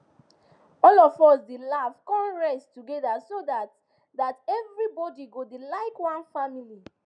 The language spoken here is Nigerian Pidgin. all of us dey laugh con rest together so that that everybody go dey like one family